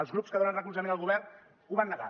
els grups que donen recolzament al govern ho van negar